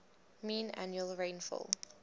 mean annual rainfall